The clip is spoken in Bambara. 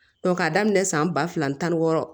k'a daminɛ san ba fila ni tan ni wɔɔrɔ